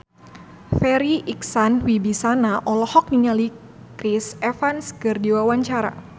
Farri Icksan Wibisana olohok ningali Chris Evans keur diwawancara